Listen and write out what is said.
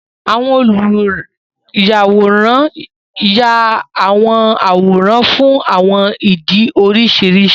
Àwọn oluyàwòrán yá àwọn àwòrán fún àwọn ìdí oríṣiríṣi.